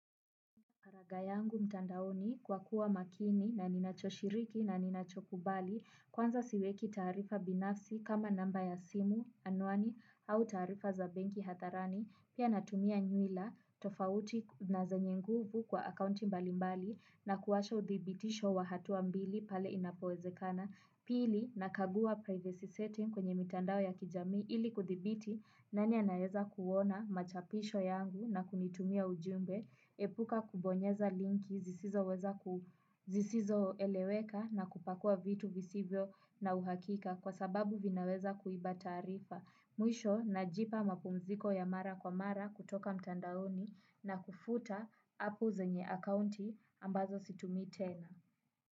Faragha yangu mtandaoni kwa kuwa makini na ninachoshiriki na ninachokubali kwanza siweki taarifa binafsi kama namba ya simu anwani au taarifa za benki hadharani pia natumia nywila tofauti na zenye nguvu kwa akaunti mbalimbali na kuwasha uthibitisho wa hatuwa mbili pale inapowezekana pili nakagua praivesi setin kwenye mitandao ya kijamii ili kudhibiti nani anaeweza kuona machapisho yangu na kunitumia ujumbe epuka kubonyeza linki zisizoweza zisizoeleweka na kupakua vitu visivyo na uhakika kwa sababu vinaweza kuiba taarifa. Mwisho najipa mapumziko ya mara kwa mara kutoka mtandaoni na kufuta app zenye akaunti ambazo situmii tena.